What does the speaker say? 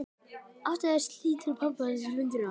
Áttu þær meira skylt við pöbba Lundúna en bjórkjallara í